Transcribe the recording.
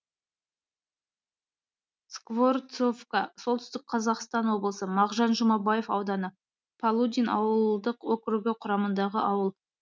скворцовка солтүстік қазақстан облысы мағжан жұмабаев ауданы полудин ауылдық округі құрамындағы ауыл